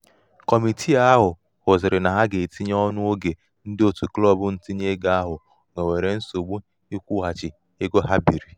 kọmitìi ahụ̀ hụ̀zị̀rị nà ha gà- etinye ọnụ̄ oge ndị òtụ klọbụ ntinye ego ahụ nwèwèrè nsògbu ịkwụ̄ghàchì nwèwèrè nsògbu ịkwụ̄ghàchì ego ha bììrì.